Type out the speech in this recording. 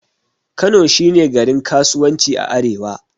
Kano shi ne garin kasuwanci a arewa.